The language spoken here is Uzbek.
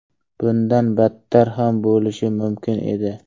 Bundan battar ham bo‘lishi mumkin edi.